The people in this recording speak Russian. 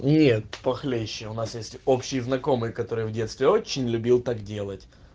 нет похлеще у нас есть общие знакомые которые в детстве очень любил так делать